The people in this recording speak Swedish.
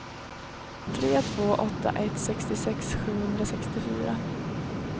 tre två åtta ett sextiosex sjuhundrasextiofyra